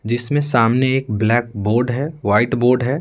जिसमें सामने एक ब्लैक बोर्ड है वाइट बोर्ड है।